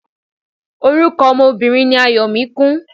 Orúkọ ọmọ Obìnrin ni Ayọ̀míkún.